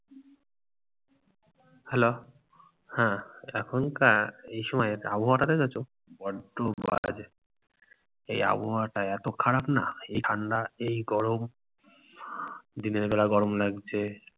hello হ্যাঁ, এখনকার এই সময়ের আবহাওয়া টা দেখেছো? বড্ডো বাজে। এই আবহাওয়াটা এত খারাপ না, এই ঠান্ডা এই গরম। দিনের বেলা গরম লাগছে,